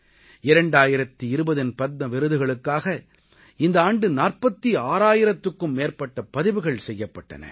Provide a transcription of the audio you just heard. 2020இன் பத்ம விருதுகளுக்காக இந்த ஆண்டு 46000த்திற்கும் மேற்பட்ட பதிவுகள் செய்யப்பட்டன